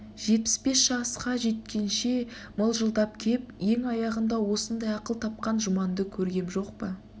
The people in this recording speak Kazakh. жетпіс бес жасқа жеткенше мылжындап кеп ең аяғында осындай ақыл тапқан жұманды көргем жоқ па